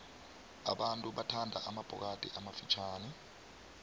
abantu bathanda amabhokathi amafitjhani